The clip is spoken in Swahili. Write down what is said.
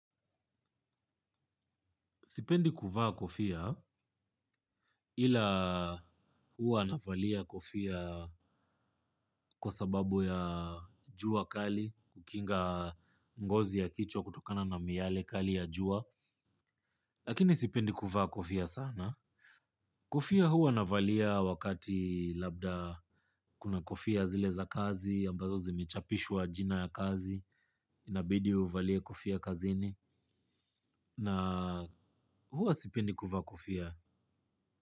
Sipendi kuvaa kofia ila huwa navalia kofia kwa sababu ya jua kali kukinga ngozi ya kichwa kutokana na miyale kali ya jua lakini sipendi kuvaa kofia sana. Kofia huwa navalia wakati labda kuna kofia zile za kazi, ambazo zimechapishwa jina ya kazi, inabidi uvalie kofia kazini, na huwa sipendi kuvaa kofia.